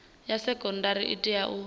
ya sekondari i tea u